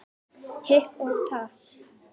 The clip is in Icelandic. Hik og tap.